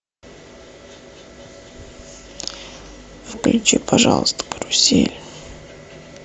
включи пожалуйста карусель